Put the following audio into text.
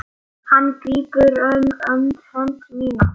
Hann grípur um hönd mína.